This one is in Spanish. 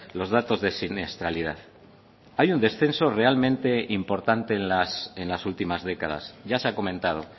los datos de siniestralidad hay un descenso realmente importante en las últimas décadas ya se ha comentado